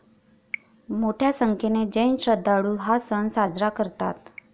मोठ्या संख्येने जैन श्रद्धाळु हा सण साजरा करतात.